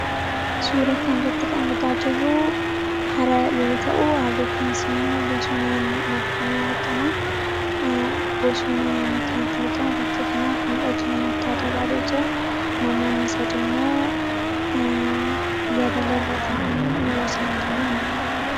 Suura kana irratti kan argaa jirru hara yeroo ta'u, harri kun ammoo bosonaan marfamee argama. Bosonni naannoo kanatti argamu naannoo kanaaf miidhagina addaa dabalee jira. Namoonni sadii ammoo yabala irra taa'anii yeroo isaan deeman argina.